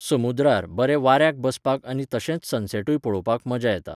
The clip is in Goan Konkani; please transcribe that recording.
समुद्रार, बरें वाऱ्याक बसपाक आनी तशेंच सनसॅटूय पळोवपाक मजा येता.